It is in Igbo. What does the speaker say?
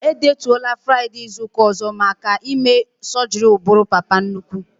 E detuola Fraịdee izuka ọzọ maka ime sọgri ụbụrụ papa nnukwu